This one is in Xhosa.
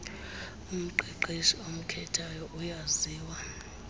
umqeqeshi omkhethayo uyaziwa